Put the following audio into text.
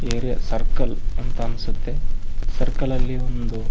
area circle ಅಂತ ಅನ್ಸತ್ತೆ circle ಅಲ್ಲಿ ಒಂದು --